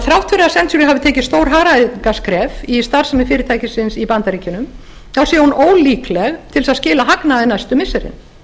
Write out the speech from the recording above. þrátt fyrir að century hafi tekið stór hagræðingarskref í starfsemi fyrirtækisins í bandaríkjunum þá sé hún ólíkleg til þess að skila hagnaði næstu missirin